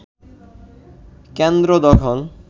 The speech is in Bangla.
কেন্দ্র দখল